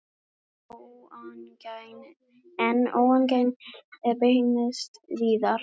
En óánægjan beinist víðar.